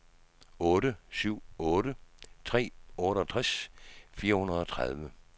otte syv otte tre otteogtres fire hundrede og tredive